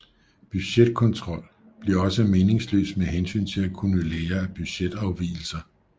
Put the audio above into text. Budgetkontrol bliver også meningsløs med hensyn til at kunne lære af budget afvigelser